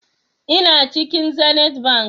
Ina cikin zenith bank